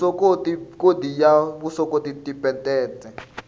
vuswikoti khodi ya vuswikoti tiphesente